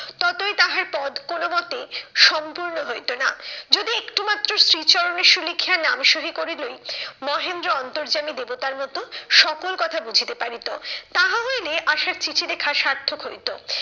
ততই তাহার পদ কোনো মতে সম্পূর্ণ হইতো না। যদি একটুমাত্র শ্রীচরণেষু লিখিয়া নাম শুরু করিলেই, মহেন্দ্র অন্তর্যামী দেবতার মতো সকল কথা বুঝিতে পারিত, তাহা হইলে আশার চিঠি লেখা সার্থক হইতো।